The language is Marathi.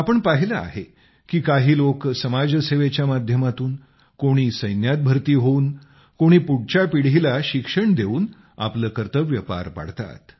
आपण पाहिले आहे की काही लोक समाजसेवेच्या माध्यमातून कोणी सैन्यात भरती होऊन कोणी पुढच्या पिढीला शिक्षण देऊन आपले कर्तव्य पार पाडतात